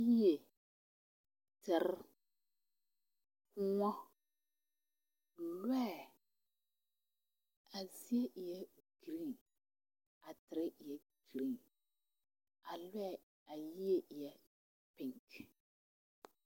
Yie, tere, kõɔ, loɛ, a zie e la gerene a a tere gerene a loɛ a yie eɛ punter.